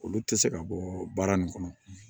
Olu tɛ se ka bɔ baara nin kɔnɔ